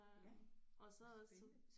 Ja hvor spændende